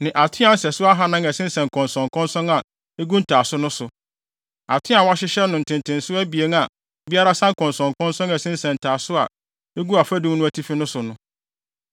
ne atoaa nsɛso ahannan a ɛsensɛn nkɔnsɔnkɔnsɔn a egu ntaaso no so (atoaa a wɔahyehyɛ no ntenten so abien a biara sa nkɔnsɔnkɔnsɔn a ɛsensɛn ntaaso a egu afadum no atifi no so no).